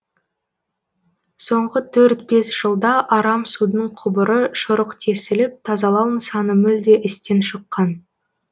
соңғы төрт бес жылда арам судың құбыры шұрық тесіліп тазалау нысаны мүлде істен шыққан